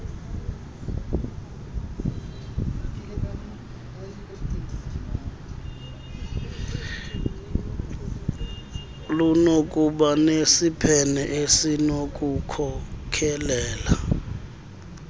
lunokuba nesiphene esinokukhokelela